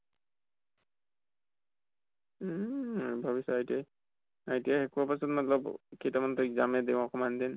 উম ভাবিছো ITI, ITI শেষ হোৱা পাছত মাত্লব কেইটামান টো exam য়ে দিম অকমান দিন।